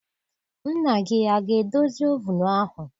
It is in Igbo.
Nna gị aga edozi ovunu ahụ?